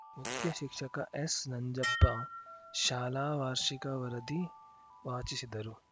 ಮುಖ್ಯ ಶಿಕ್ಷಕ ಎಸ್‌ ನಂಜಪ್ಪ ಶಾಲಾ ವಾರ್ಷಿಕ ವರದಿ ವಾಚಿಸಿದರು